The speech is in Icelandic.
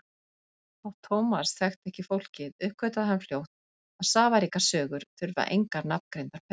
Þótt Thomas þekkti ekki fólkið uppgötvaði hann fljótt að safaríkar sögur þurfa engar nafngreindar persónur.